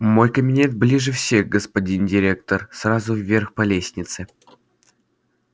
мой кабинет ближе всех господин директор сразу вверх по лестнице